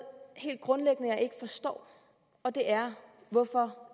helt grundlæggende jeg ikke forstår og det er hvorfor